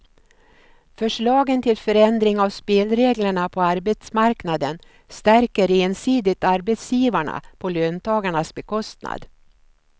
Förslagen till förändring av spelreglerna på arbetsmarknaden stärker ensidigt arbetsgivarna på löntagarnas bekostnad.